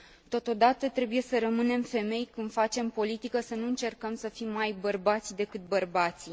Totodată, trebuie să rămânem femei când facem politică, să nu încercăm să fim mai bărbați decât bărbații.